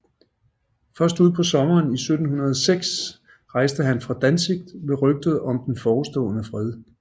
Først ud på sommeren 1706 rejste han fra Danzig ved rygtet om den forestående fred